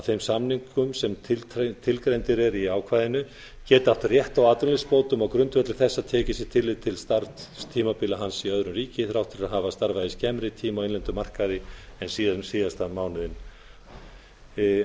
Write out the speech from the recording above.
þeim samningum sem tilgreindir eru í ákvæðinu geti átt rétt á atvinnuleysisbótum á grundvelli þess að tekið sé tillit til starfstímabila hans í öðru ríki þrátt fyrir að hann hafi starfað í skemmri tíma á innlendum markaði en síðasta mánuðinn